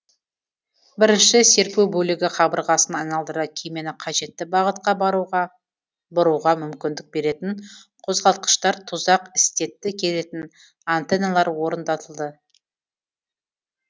бірінші серпу бөлігі қабырғасын айналдыра кемені қажетті бағытқа бұруға мүмкіндік беретін қозғалтқыштар тұзақ істетті келетін аннтеналар орнатылды